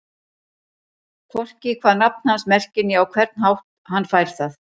Hvorki hvað nafn hans merkir né á hvern hátt hann fær það.